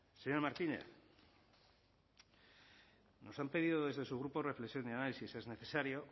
señor martínez nos han pedido desde su grupo reflexión y análisis es necesario